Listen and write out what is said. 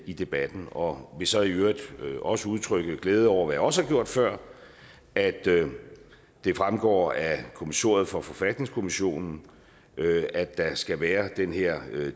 i debatten og vil så i øvrigt også udtrykke glæde over hvilket jeg også har gjort før at det fremgår af kommissoriet for forfatningskommissionen at der skal være den her